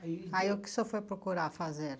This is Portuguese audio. Aí... Aí o que o senhor foi procurar fazer?